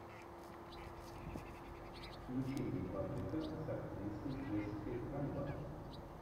включи мне паприка с актрисой джессика альба